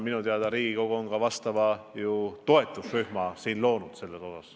Minu teada on Riigikogu siin selleks toetusrühma loonud.